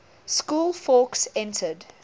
school fawkes entered